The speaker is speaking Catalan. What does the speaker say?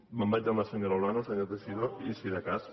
me’n vaig amb la senyora olano senyor teixidó i si de cas